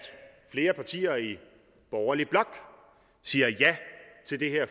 flere partier i borgerlig blok siger ja til det her